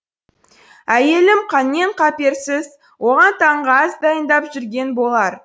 әйелім қаннен қаперсіз оған таңғы ас дайындап жүрген болар